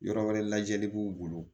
Yɔrɔ wɛrɛ lajɛli b'u bolo